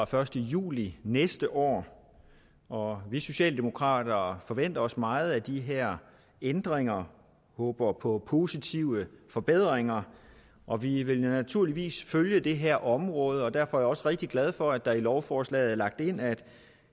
første juli næste år år vi socialdemokrater forventer os meget af de her ændringer og håber på positive forbedringer og vi vil naturligvis følge det her område derfor er jeg også rigtig glad for at der i lovforslaget er lagt ind at